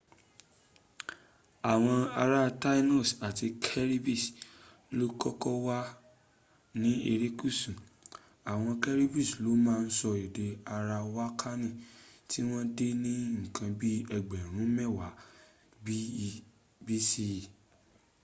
àwọn ará taínos àti caribes ló kọ́kọ́ wà ní erékùsù. àwọn caribes ló má ń sọ èdè arawakani tí wọ́n dé ní ǹkan bi ẹgbẹ̀rún mẹ́wàá bce